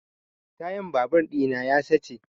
Tayan babur ɗina ya sace